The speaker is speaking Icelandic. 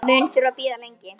Mun þurfa að bíða lengi.